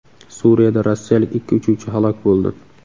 Suriyada rossiyalik ikki uchuvchi halok bo‘ldi.